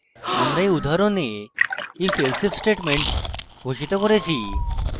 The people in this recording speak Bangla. আমরা এই উদাহরণে ifelsif statement ঘোষিত করেছি